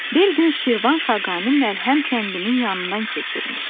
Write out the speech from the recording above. Bir gün Şirvan xaqani Məlhəm kəndinin yanından keçirmiş.